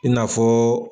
I n'a fɔ